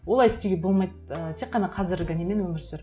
олай істеуге болмайды ы тек қана қазіргі немен өмір сүр